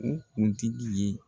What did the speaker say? U kuntigi ye